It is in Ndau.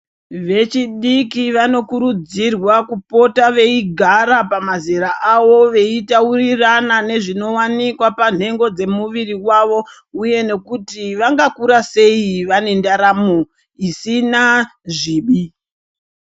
Vechidiki vanokurudzirwa kupota veigara pamazera avo veitaurirana nezvinowanikwa panhengo dzemuviri wavo uye nekuti vanga kura sei vane ndaramo dzisina zvivi.